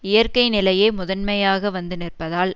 இயற்கை நிலையே முதன்மையாக வந்து நிற்பதால்